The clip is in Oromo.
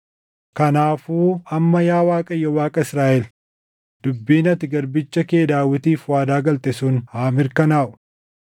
Kanaafuu amma yaa Waaqayyo Waaqa Israaʼel, dubbiin ati garbicha kee Daawitiif waadaa galte sun haa mirkanaaʼu.